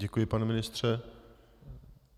Děkuji, pane ministře.